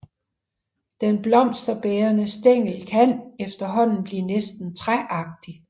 Den blomsterbærende stængel kan efterhånden blive næsten træagtig